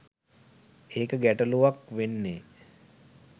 ඒක ගැටළුවක් වෙන්නෙ